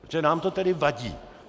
Protože nám to tedy vadí!